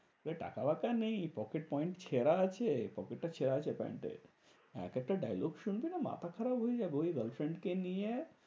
টাকা বাকা নেই pocket point ছেঁড়া আছে। pocket টা ছেঁড়া আছে প্যান্ট এর। এক একটা dialogue শুনবি না? মাথা খারাপ হয়ে যাবে। ওই girlfriend কে নিয়ে